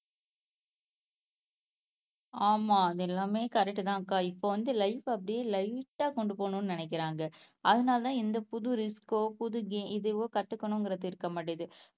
ஆமா அது எல்லாமே கரெக்ட்ட்தான்க்கா இப்போ வந்து லைப் அப்படியே லைட் ஆஹ் கொண்டு போகணும்னு நினைக்கிறாங்க அதனாலதான் எந்த புது ரிஸ்க் ஓ புது கேம் இதுவோ கத்துக்கணும்ங்கிறது இருக்க மாட்டேங்குது